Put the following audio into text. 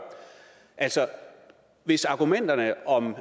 altså hvis argumenterne om